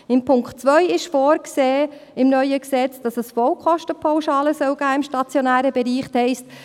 Zum Punkt 2 ist im neuen Gesetz vorgesehen, dass es im stationären Bereich Vollkostenpauschalen geben soll.